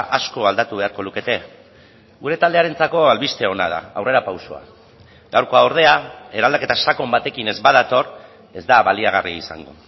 asko aldatu beharko lukete gure taldearentzako albiste ona da aurrerapausoa gaurkoa ordea eraldaketa sakon batekin ez badator ez da baliagarria izango